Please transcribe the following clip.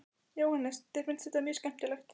Jóhannes: Þér finnst þetta mjög skemmtilegt?